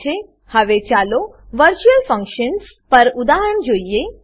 હવે ચાલો virtual functions virtual ફંક્શનો પર ઉદાહરણ જોઈએ